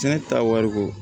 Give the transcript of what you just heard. Sɛnɛ ta wari ko